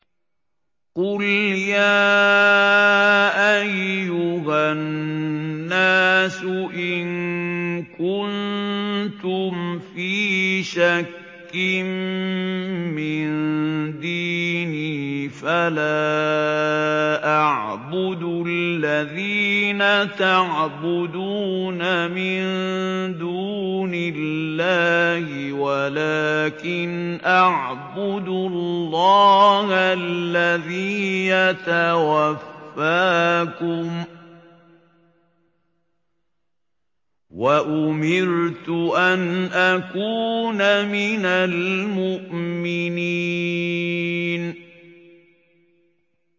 قُلْ يَا أَيُّهَا النَّاسُ إِن كُنتُمْ فِي شَكٍّ مِّن دِينِي فَلَا أَعْبُدُ الَّذِينَ تَعْبُدُونَ مِن دُونِ اللَّهِ وَلَٰكِنْ أَعْبُدُ اللَّهَ الَّذِي يَتَوَفَّاكُمْ ۖ وَأُمِرْتُ أَنْ أَكُونَ مِنَ الْمُؤْمِنِينَ